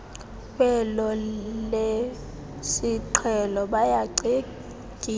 kwelo lesiqhelo bayacetyiswa